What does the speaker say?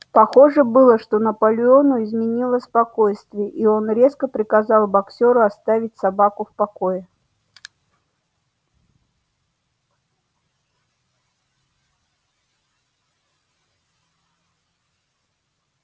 похоже было что наполеону изменило спокойствие и он резко приказал боксёру оставить собаку в покое